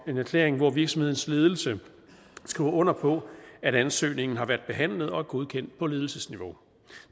en erklæring hvor virksomhedens ledelse skriver under på at ansøgningen har været behandlet og er godkendt på ledelsesniveau